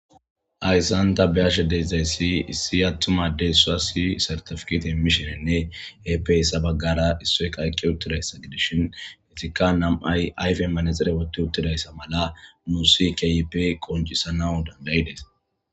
Hyssan ta beyashe dedzayssi issi attuma deyssasi sartafkit himmishinenne epeyssa baggara issoykaaykke uttidayssa gidishin hetikka nam'ay ayfe manexire wotti uttidayssa mala muusi keyipe qoncisana dandayidees.